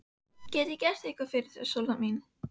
Get ég gert eitthvað fyrir þig, Sóla mín?